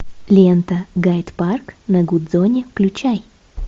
лента гайд парк на гудзоне включай